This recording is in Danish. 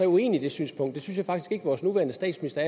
uenig i det synspunkt det synes at vores nuværende statsminister